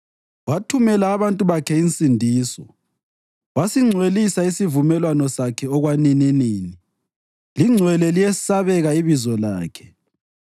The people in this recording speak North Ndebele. Wathumela abantu bakhe insindiso; wasingcwelisa isivumelwano Sakhe okwanininini lingcwele liyesabeka ibizo lakhe.